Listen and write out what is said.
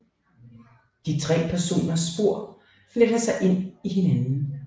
De tre personers spor fletter sig ind i hinanden